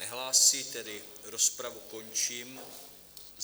Nehlásí, tedy rozpravu končím.